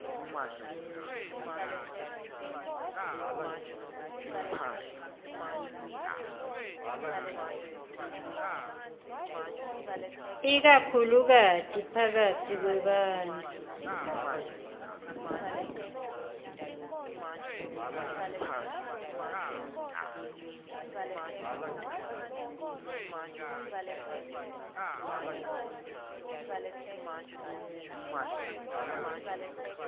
ikakhulukati phakatsi kwebantfu